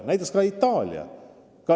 Näiteks võib tuua Itaalia.